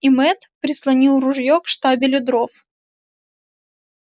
и мэтт прислонил ружье к штабелю дров